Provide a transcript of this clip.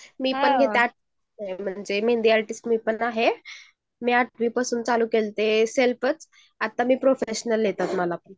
म्हणजे मेहंदी आर्टिस्ट मी पण आहे मी पण आठवीपासून चालू केलते सेल्फचं आता प्रोफेशनल आहे त्यात